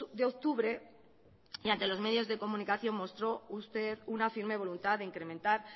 de octubre y ante los medios de comunicación mostró usted una firme voluntad de incrementar